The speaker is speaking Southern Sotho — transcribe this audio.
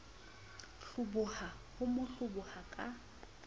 hloboha ho mo hloboha ka